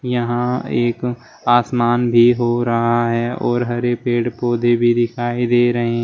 यहां एक आसमान भी हो रहा है और हरे पेड़ पौधे भी दिखाई दे रहे--